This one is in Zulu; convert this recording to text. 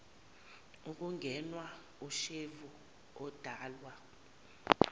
ukungenwa ushevu odalwa